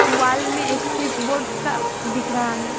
Wall में एक switch board का दिख रहा है।